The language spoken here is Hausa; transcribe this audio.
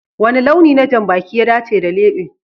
Wani launi na janbaki ya dace da lebe?